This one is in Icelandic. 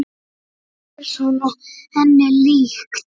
Það er svona henni líkt.